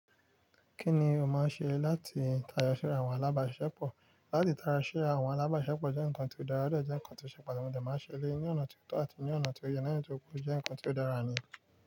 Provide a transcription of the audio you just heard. Kí ni o máa ṣe láti tayọ sí àwọn alábàásiṣepọ̀? Látí tara ṣe àwọn alábàáṣepọ̀ jẹ́ nǹkan tó dáradára jẹ́ nǹkan tó ṣe pàtàkì máa ṣẹlẹ ní ọ̀nà tó tọ́ àti ní ọ̀nà tó yẹ nítorí pé ó jẹ́ nǹkan tó dára ni.